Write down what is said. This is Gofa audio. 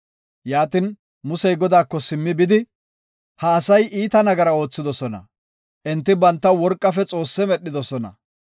Yaatin Musey Godaako simmidi bidi, “Ha asay iita nagaraa oothidosona; enti bantaw worqafe xoosse medhidosona.